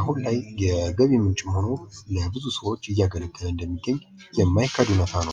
አሁን ላይ የገቢ ምንጭ ሆኖ ለብዙ ሰዎች እያገለገለ እንደሚገኝ የማይካድ እውነታ ነው።